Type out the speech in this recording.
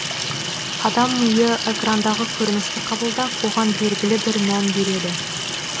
адам миы экрандағы көріністі қабылдап оған белгілі бір мән береді